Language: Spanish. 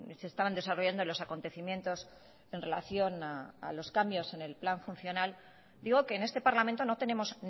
se estaban desarrollando los acontecimientos en relación a los cambios en el plan funcional digo que en este parlamento no tenemos